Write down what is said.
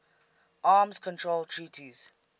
arms control treaties